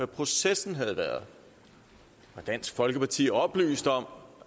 processen har været var dansk folkeparti oplyst om